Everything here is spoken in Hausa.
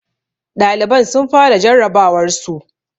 Ɗaliban sun fara jarrabawarsu